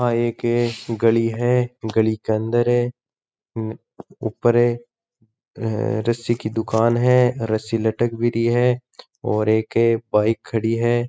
यहाँ एक गली है गली के अंदर ऊपर है रस्सी की दुकान है रस्सी लटक भी री है और एक बाइक खड़ी है।